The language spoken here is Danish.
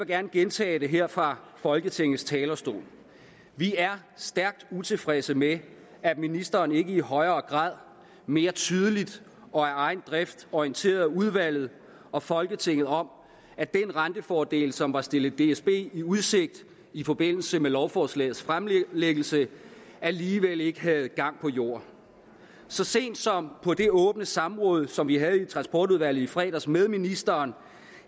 gerne gentage det her fra folketingets talerstol vi er stærkt utilfredse med at ministeren ikke i højere grad mere tydeligt og af egen drift orienterede udvalget og folketinget om at den rentefordel som var stillet dsb i udsigt i forbindelse med lovforslagets fremlæggelse alligevel ikke havde gang på jorden så sent som på det åbne samråd som vi havde i transportudvalget i fredags med ministeren